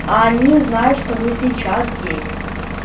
а они знают что вы сейчас здесь